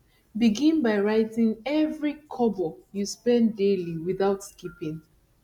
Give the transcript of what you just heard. begin by writing every kobo you spend daily without skipping